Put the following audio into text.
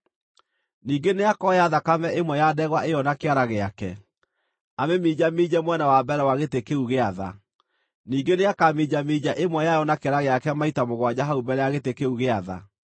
Ningĩ nĩakoya thakame ĩmwe ya ndegwa ĩyo na kĩara gĩake, amĩminjaminje mwena wa mbere wa gĩtĩ kĩu gĩa tha; ningĩ nĩakaminjaminja ĩmwe yayo na kĩara gĩake maita mũgwanja hau mbere ya gĩtĩ kĩu gĩa tha.